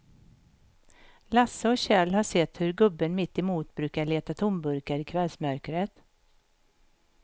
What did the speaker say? Lasse och Kjell har sett hur gubben mittemot brukar leta tomburkar i kvällsmörkret.